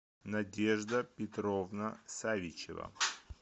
надежда петровна савичева